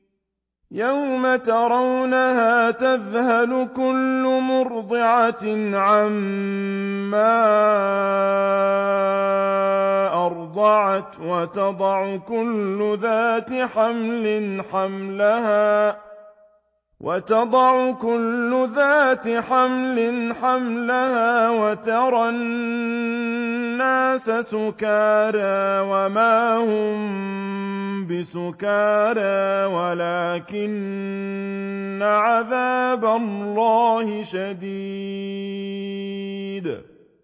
يَوْمَ تَرَوْنَهَا تَذْهَلُ كُلُّ مُرْضِعَةٍ عَمَّا أَرْضَعَتْ وَتَضَعُ كُلُّ ذَاتِ حَمْلٍ حَمْلَهَا وَتَرَى النَّاسَ سُكَارَىٰ وَمَا هُم بِسُكَارَىٰ وَلَٰكِنَّ عَذَابَ اللَّهِ شَدِيدٌ